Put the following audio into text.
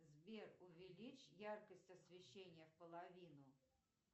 сбер увеличь яркость освещения в половину